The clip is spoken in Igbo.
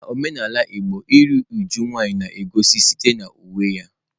N'omenala igbo iru uju nwanyị na-egosi site na uwe ya.